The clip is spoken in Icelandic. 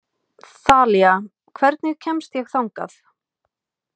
Þalía, hvernig kemst ég þangað?